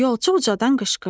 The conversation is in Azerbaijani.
Yolçu ucadan qışqırdı: